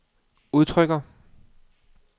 udtrykker